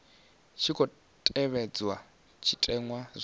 tshi khou tevhedzwa zwitenwa zwa